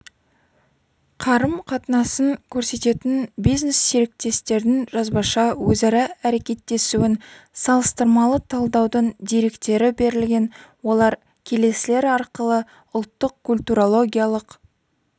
қарым-қатынасын көрсететін бизнес-серіктестердің жазбаша өзара әрекеттесуін салыстырмалы талдаудың деректері берілген олар келесілер арқылы ұлттық культурологиялық